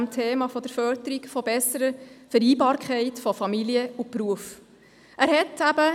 Der Kanton soll beim Thema der Förderung der besseren Vereinbarkeit von Familie und Beruf nun eben mit gutem Beispiel vorangehen.